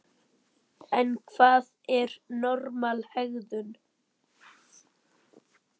En hvað er normal hegðun?